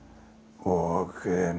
og